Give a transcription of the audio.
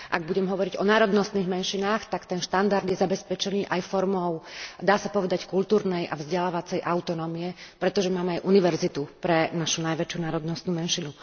Ak budem hovoriť o národnostných menšinách, tak ten štandard je zabezpečený aj formou dá sa povedať kultúrnej a vzdelávacej autonómie, pretože máme aj univerzitu pre našu najväčšiu národnostnú menšinu.